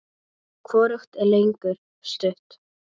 Hvorugt er lengur stutt.